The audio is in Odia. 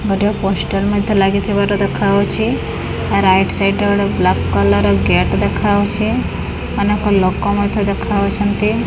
ଗୋଟିଏ ପୋଷ୍ଟର ମଧ୍ୟ ଲାଗିଥିବାର ଦେଖାହୋଉଛି ରାଇଟ ସାଇଡ୍ ରେ ଗୋଟେ ବ୍ଲାକ କଲର୍ ଗେଟ୍ ଦେଖାହୋଉଛି ଅନେକ ଲୋକ ମଧ୍ୟ ଦେଖାହୋଉଛନ୍ତି।